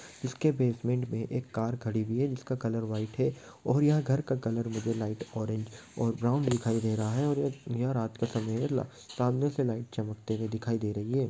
इसके बेसमेंट में एक कार खड़ी भी है जिसका कलर व्हाइट है। और यहाँ घर का कलर भी लाइट ऑरेंज और ब्राउन दिखाई दे रहा है और यह रात का समय है। ला सामने से लाइट चमकते हुए दिखाई दे रही है।